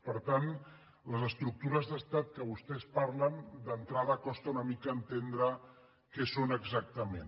per tant les estructures d’estat de què vostès parlen d’entrada costa una mica entendre què són exactament